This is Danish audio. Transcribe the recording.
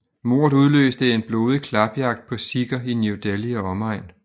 Mordet udløste en blodig klapjagt på sikher i New Delhi og omegn